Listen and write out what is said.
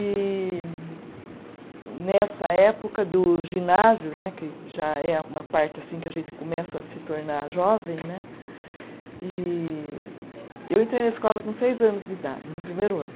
E nessa época do ginásio né, que já é a uma parte assim que a gente começa a se tornar jovem né, e eu entrei na escola com seis anos de idade, no primeiro ano.